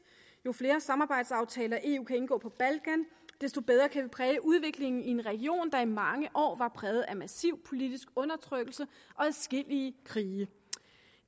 jo flere samarbejdsaftaler eu kan indgå på balkan desto bedre kan vi præge udviklingen i en region der i mange år var præget af massiv politisk undertrykkelse og adskillige krige